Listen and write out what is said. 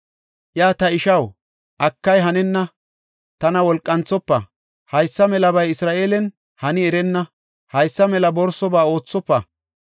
Iya, “Ta ishaw, akay hanenna! Tana wolqanthofa! Haysa melabay Isra7eelen hani erenna; haysa mela borsoba oothofa.